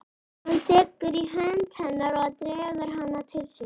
Hann tekur í hönd hennar og dregur hana til sín.